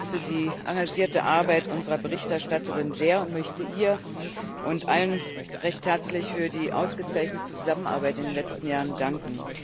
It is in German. Auch ich schätze die engagierte Arbeit unserer Berichterstatterin sehr und möchte ihr und allen recht herzlich für die ausgezeichnete Zusammenarbeit in den letzten Jahren danken.